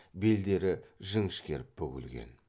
белдері жіңішкеріп бүгілген